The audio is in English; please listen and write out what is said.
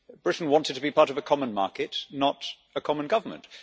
Britain wanted to be part of a common market, not a common government.